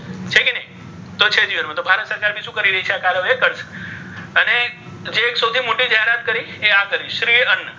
એ તો છે જ ભારત સરકારે શું કરી રહી છે? આ કાર્યવાહી કરશે. અને જે એક સૌથી મોટી જાહેરાત કરી એ આ કરી શ્રી અન્ન.